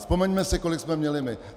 Vzpomeňme si, kolik jsme měli my.